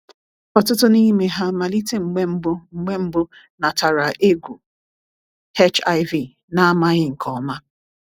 "Ọtụtụ n’ime ha malite mgbe mbụ mgbe mbụ nataara egwu HIV na amaghị nke ọma."